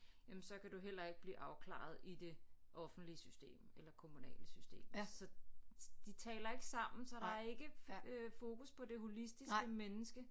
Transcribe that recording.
Jamen så kan du heller ikke blive afklaret i det offentlige system eller kommunale system så de taler ikke sammen så der er ikke øh fokus på det holistiske menneske